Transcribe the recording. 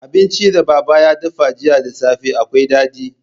Abincin da baba ya dafa jiya da safe akwai daɗi.